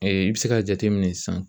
i bɛ se k'a jateminɛ sisan